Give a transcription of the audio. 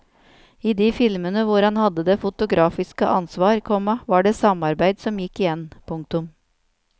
I de filmene hvor han hadde det fotografiske ansvar, komma var det samarbeid som gikk igjen. punktum